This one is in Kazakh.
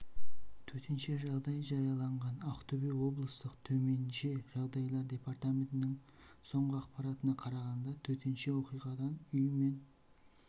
төтенше жағдай жарияланған ақтөбе облыстық төменше жағдайлар департаментінің соңғы ақпаратына қарағанда төтенше оқиғадан үй мен